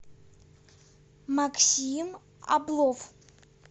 максим облов